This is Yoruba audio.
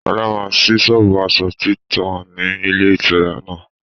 Sọlá máa síí sọ́ọ́bù aṣọ títa ni ilé ìtura náà.